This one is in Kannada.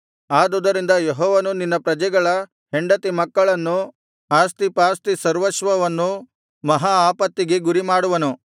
ಆದುದರಿಂದ ಯೆಹೋವನು ನಿನ್ನ ಪ್ರಜೆಗಳ ಹೆಂಡತಿ ಮಕ್ಕಳನ್ನೂ ಆಸ್ತಿಪಾಸ್ತಿ ಸರ್ವಸ್ವವನ್ನೂ ಮಹಾ ಆಪತ್ತಿಗೆ ಗುರಿಮಾಡುವನು